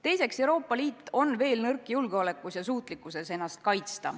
Teiseks, Euroopa Liit on veel nõrk julgeolekus ja suutlikkuses ennast kaitsta.